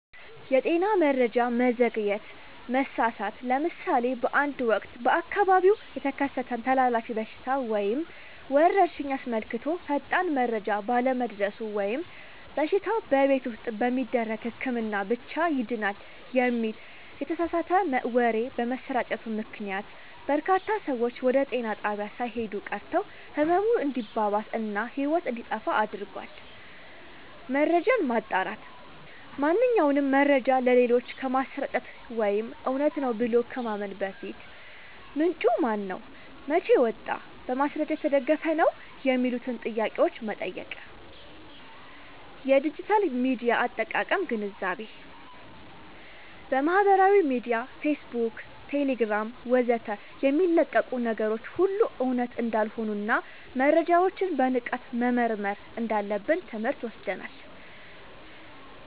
የጤና መረጃ መዘግየት/መሳሳት፦ ለምሳሌ በአንድ ወቅት በአካባቢው የተከሰተን ተላላፊ በሽታ ወይም ወረርሽኝ አስመልክቶ ፈጣን መረጃ ባለመድረሱ ወይም በሽታው "በቤት ውስጥ በሚደረግ ህክምና ብቻ ይድናል" የሚል የተሳሳተ ወሬ በመሰራጨቱ ምክንያት፣ በርካታ ሰዎች ወደ ጤና ጣቢያ ሳይሄዱ ቀርተው ህመሙ እንዲባባስ እና ህይወት እንዲጠፋ አድርጓል። መረጃን ማጣራት፦ ማንኛውንም መረጃ ለሌሎች ከማሰራጨት ወይም እውነት ነው ብሎ ከማመን በፊት፣ "ምንጩ ማነው? መቼ ወጣ? በማስረጃ የተደገፈ ነው?" የሚሉትን ጥያቄዎች መጠየቅ። የዲጂታል ሚዲያ አጠቃቀም ግንዛቤ፦ በማህበራዊ ሚዲያ (ፌስቡክ፣ ቴሌግራም ወዘተ) የሚለቀቁ ነገሮች ሁሉ እውነት እንዳልሆኑና መረጃዎችን በንቃት መመርመር እንዳለብን ትምህርት ወስደናል።